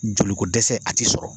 Joli ko dɛsɛ a t'i sɔrɔ.